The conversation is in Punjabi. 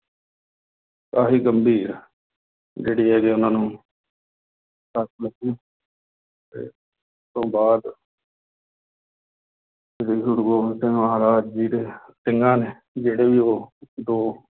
ਕਾਫ਼ੀ ਗੰਭੀਰ ਜਿਹੜੀ ਹੈਗੀ ਉਹਨਾਂ ਨੂੰ ਸੱਟ ਲੱਗੀ ਤੇ ਤੋਂ ਬਾਅਦ ਸ੍ਰੀ ਗੁਰੂ ਗੋਬਿੰਦ ਸਿੰਘ ਮਹਾਰਾਜ ਜੀ ਦੇ ਸਿੰਘਾਂ ਨੇ ਜਿਹੜੇ ਵੀ ਉਹ ਦੋ